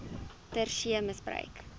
ter see misbruik